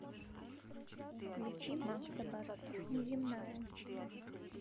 включи макса барских неземная